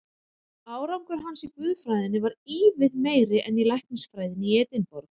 Árangur hans í guðfræðinni varð ívið meiri en í læknisfræðinni í Edinborg.